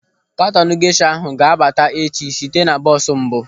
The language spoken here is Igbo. Katọnu gesha ahụ ga-abata echi site na bọọsụ mbụ.